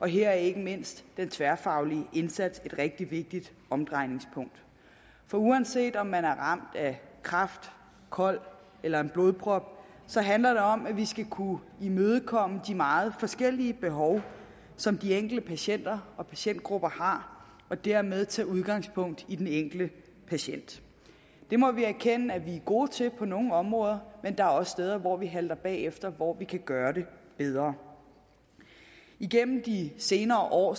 her er ikke mindst den tværfaglige indsats et rigtig vigtigt omdrejningspunkt for uanset om man er ramt af kræft kol eller en blodprop så handler det om at vi skal kunne imødekomme de meget forskellige behov som de enkelte patienter og patientgrupper har og dermed tage udgangspunkt i den enkelte patient det må vi erkende at vi er gode til på nogle områder men der er også steder hvor vi halter bagefter og hvor vi kan gøre det bedre igennem de senere år